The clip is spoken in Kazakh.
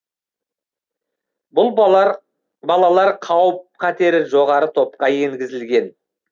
бұл балалар қауіп қатері жоғары топқа енгізілген